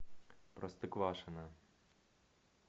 простоквашино